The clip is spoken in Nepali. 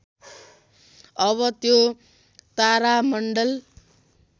अब त्यो तारामण्डल